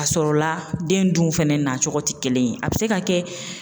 A sɔrɔla den dun fɛnɛ na cogo ti kelen ye a bi se ka kɛ.